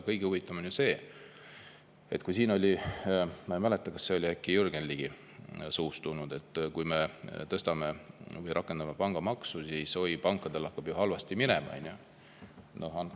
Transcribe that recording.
Kõige huvitavam on ju see, et siin oli – ma ei mäleta, kas see tuli äkki Jürgen Ligi suust –, et kui me rakendame pangamaksu, siis pankadel hakkab halvasti minema.